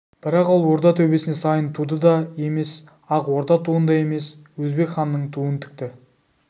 бірақ ол орда төбесіне сайын туын да емес ақ орда туын да емес өзбек ханның туын тікті